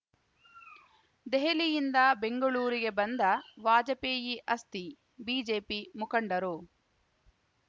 ದೆಹಲಿಯಿಂದ ಬೆಂಗಳೂರಿಗೆ ಬಂದ ವಾಜಪೇಯಿ ಅಸ್ಥಿ ಬಿಜೆಪಿ ಮುಖಂಡರು